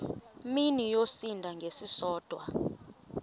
mini yosinda ngesisodwa